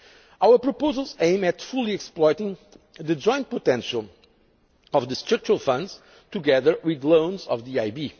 future. Our proposals aim at fully exploiting the joint potential of the structural funds, together with loans from